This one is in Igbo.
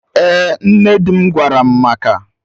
Ee, nne dim gwaram maka